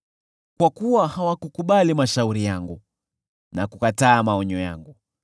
kwa kuwa hawakukubali mashauri yangu, na kukataa maonyo yangu,